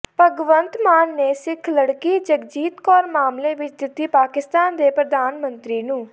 ਭਗਵੰਤ ਮਾਨ ਨੇ ਸਿੱਖ ਲੜਕੀ ਜਗਜੀਤ ਕੌਰ ਮਾਮਲੇ ਵਿੱਚ ਦਿੱਤੀ ਪਾਕਿਸਤਾਨ ਦੇ ਪ੍ਰਧਾਨਮੰਤਰੀ ਨੂੰ